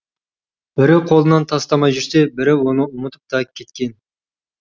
бірі қолынан тастамай жүрсе бірі оны ұмытып та кеткен